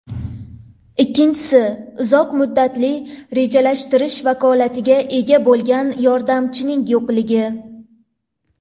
Ikkinchisi, uzoq muddatli rejalashtirish vakolatiga ega bo‘lgan yordamchining yo‘qligi.